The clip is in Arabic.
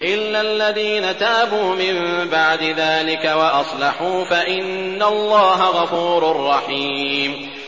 إِلَّا الَّذِينَ تَابُوا مِن بَعْدِ ذَٰلِكَ وَأَصْلَحُوا فَإِنَّ اللَّهَ غَفُورٌ رَّحِيمٌ